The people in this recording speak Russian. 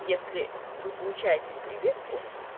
если вы получаете прививку